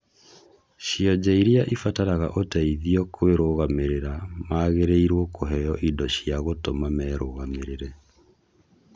Cionje iria imbataraga uteithio kũĩrugamĩrĩra magĩrĩirwo kũheo indo cia gũtũma merũgamĩrĩre